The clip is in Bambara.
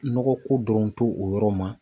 Nɔgɔ ko dɔrɔn to o yɔrɔ ma.